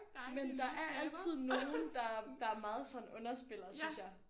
Men der er altid nogen der der meget sådan underspiller synes jeg